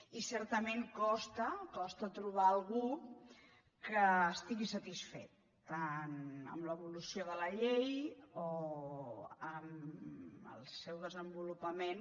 i certament costa costa trobar algú que estigui satisfet tant amb l’evolució de la llei o amb el seu desenvolupament